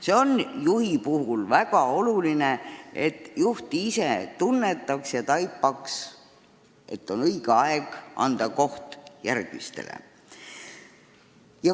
See on juhi puhul väga oluline, et ta ise tunnetaks, et on õige aeg anda oma koht järgmisele.